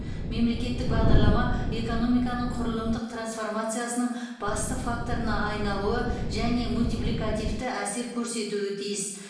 мемлекеттік бағдарлама экономиканың құрылымдық трансформациясының басты факторына айналуы және мультипликативті әсер көрсетуі тиіс